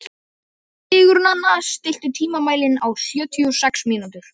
Til hvers ertu að kalla á Hallmund?